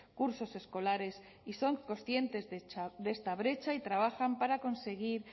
cursos escolares y son conscientes de esta brecha y trabajan para conseguir